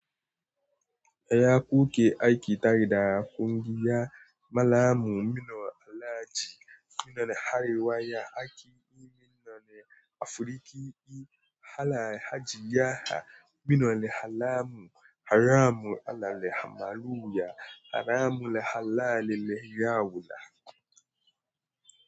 Yaya kuke aiki tare da kungiya Mallamun Minna Alhaji Minna Arewa ya aiki Minna ne Afirika I hala Hajiya Minna ne Hallamu Haramu Allah lehamaluya Haramu lehalali leyawula.